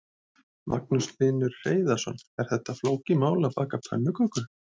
Magnús Hlynur Hreiðarsson: Er þetta flókið mál, að baka pönnukökur?